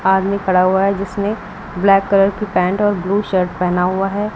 आदमी खड़ा हुआ है जिसने ब्लैक कलर की पैंट और ब्लू शर्ट पहना हुआ है।